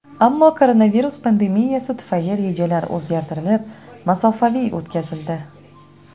Ammo koronavirus pandemiyasi tufayli rejalar o‘zgartirilib, masofaviy o‘tkazildi.